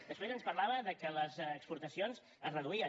després ens parlava que les exportacions es reduïen